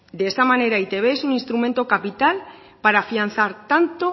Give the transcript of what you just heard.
de esta manera e i te be es un instrumento capital para afianzar tanto